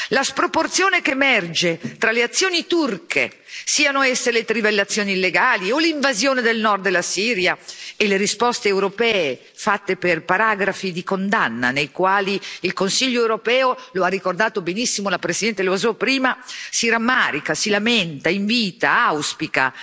La sproporzione che emerge tra le azioni turche, siano esse le trivellazioni illegali o l'invasione del nord della Siria, e le risposte europee, fatte per paragrafi di condanna nei quali il Consiglio europeo, lo ha ricordato benissimo la presidente Loiseau prima, si rammarica, si lamenta, invita, auspica,